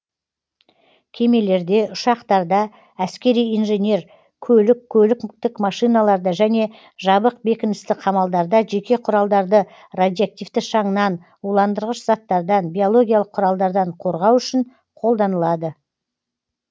кемелерде ұшақтарда әскери инженер көлік көліктік машиналарда және жабық бекіністі қамалдарда жеке құралдарды радиоактивті шаңнан уландырғыш заттардан биологиялық құралдардан қорғау үшін қолданылады